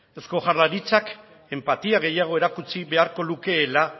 eusko jaurlaritzak enpatia gehiago erakutsi beharko lukeela